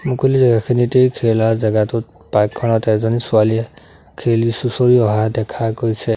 মুকলি জেগাখনিতেই খেলা জেগাটোত পাৰ্ক খনত এজনী ছোৱালীয়ে খেলি চুঁচৰি অহা দেখা গৈছে।